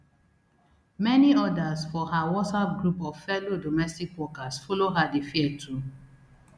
many odas for her whatsapp group of fellow domestic workers follow her dey fear too